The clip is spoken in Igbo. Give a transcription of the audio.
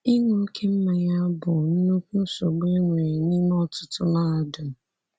Ịṅụ oké mmanya bụ nnukwu nsogbu e nwere n’ime ọtụtụ mahadum.